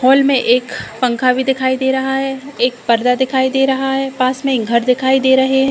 Hall में एक पंखा भी दिखाई दे रहा है। एक पर्दा दिखाई दे रहा है। पास में एक घर दिखाई दे रहे हैं।